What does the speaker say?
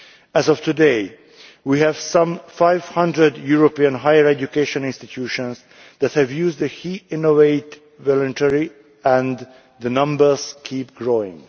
As of today, we have some 500 European higher education institutions that have used the initiative voluntarily, and the number keeps growing.